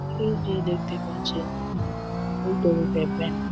এই যে দেখতে পাচ্ছেন ওপরে ওটা ব্যাঙ্ক ।